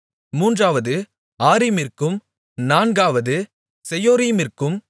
மூன்றாவது ஆரிமிற்கும் நான்காவது செயோரீமிற்கும்